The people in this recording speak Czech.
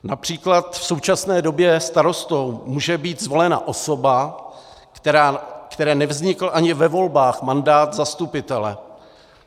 Například v současné době starostou může být zvolena osoba, které nevznikl ani ve volbách mandát zastupitele.